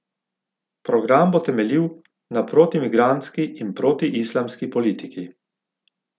Program bo temeljil na protimigrantski in protiislamski politiki.